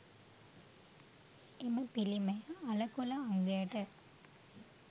එම පිළිමය අළකොළ අංගයට